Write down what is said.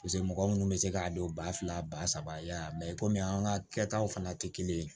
mɔgɔ minnu bɛ se k'a don ba fila ba saba y'a la komi an ka kɛtaw fana tɛ kelen ye